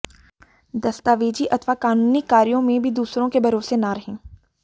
दस्तावेजी अथवा कानूनी कार्यों में भी दूसरों के भरोसे न रहें